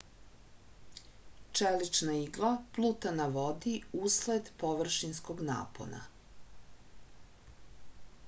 čelična igla pluta na vodi usled površinskog napona